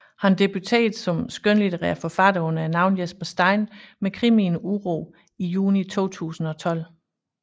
Han debuterede som skønlitterær forfatter under navnet Jesper Stein med krimien Uro i juni 2012